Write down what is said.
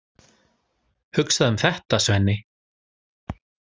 Hugsaðu um þetta, Svenni!